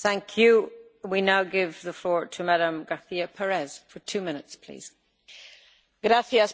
Señora